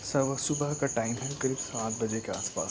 सव सुबह का टाइम है करीब सात बजे के आस पास --